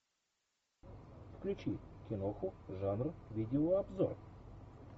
включи киноху жанр видеообзор